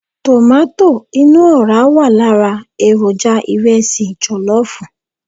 Tomato inú ọ̀ra wà lára èròjà ìrẹsì jọ̀lọ́fù.